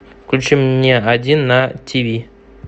включи мне один на тиви